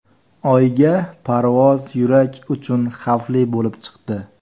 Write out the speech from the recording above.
Oyga parvoz yurak uchun xavfli bo‘lib chiqdi.